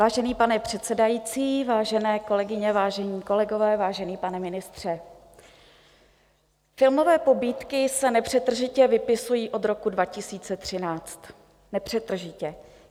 Vážený pane předsedající, vážené kolegyně, vážení kolegové, vážený pane ministře, filmové pobídky se nepřetržitě vypisují od roku 2013, nepřetržitě.